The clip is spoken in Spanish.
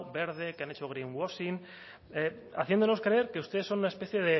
verde que han hecho greenwhashing haciéndonos creer que ustedes son una especie